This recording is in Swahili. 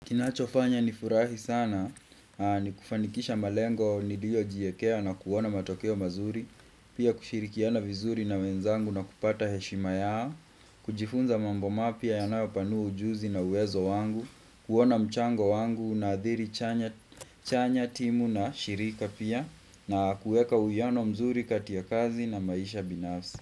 Kinachofanya nifurahi sana ni kufanikisha malengo niliyo jiekea na kuona matokeo mazuri, pia kushirikiana vizuri na wenzangu na kupata heshima yao, kujifunza mambo mapya yanayo panua ujuzi na uwezo wangu, kuona mchango wangu na adhiri chanya timu na shirika pia na kuweka uyano mzuri katia kazi na maisha binafsi.